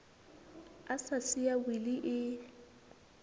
a sa siya wili e